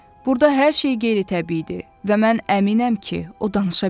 Burda hər şey qeyri-təbiidir və mən əminəm ki, o danışa bilir.